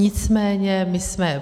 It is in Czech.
Nicméně my jsme...